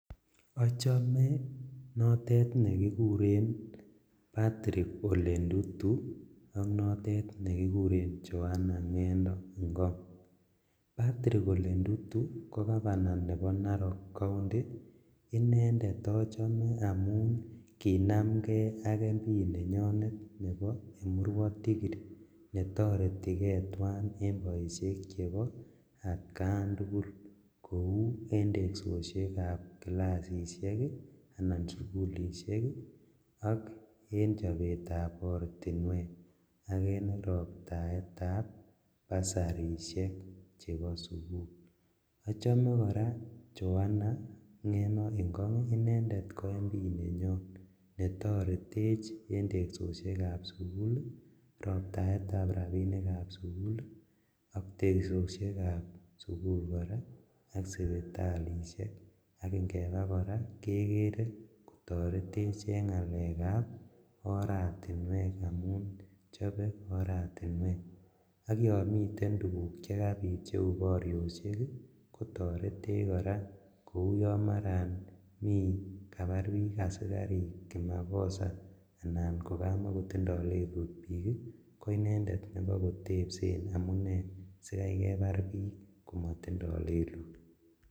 Ochome notet nekikuren Patrick Ole Ntutu ok notet nekikuren Johana Ngeno Ngong Patrick Ole Ntutu ko governor nebo Narok county inendet ochome amun kinamngee ak MP nenyonet nebo Emurrua Dikirr netoretikee twan en boisionik kou en tesoshekab classishek ii anan sugulishek ii ok en chobetab ortinwek ak en roptaetab bursarishek chebo sugul, ochome koraa Johana Ngeno Ngong inendet kotoretech en tesoshekab sugul ii, roptaetab rabishekab sugul ii, ak tesoshekab sugul koraa ak sipitalishek ak ingebaa koraa kekere kotoretech en ngalekab oratinwek amun chebe oratinwek ok yon miten tuguk chekabit cheu borioshek ii kotoretech koraa kou yon maran kabar asikarik kimakosa anan kokamokotindo lelut bik ii koinendet konyokotepsen amune sikai kebar bik komotindo lelut.